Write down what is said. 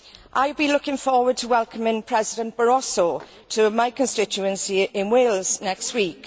I have been looking forward to welcoming President Barroso to my constituency in Wales next week.